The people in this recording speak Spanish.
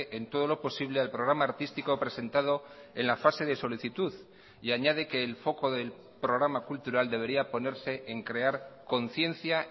en todo lo posible al programa artístico presentado en la fase de solicitud y añade que el foco del programa cultural debería ponerse en crear conciencia